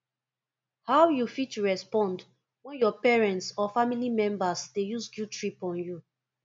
how you fit respond when your parents or family members dey use guilttrip on you